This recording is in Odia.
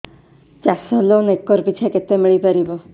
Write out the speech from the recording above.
ଚାଷ ଲୋନ୍ ଏକର୍ ପିଛା କେତେ ମିଳି ପାରିବ